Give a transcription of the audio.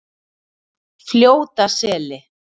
Fljótaseli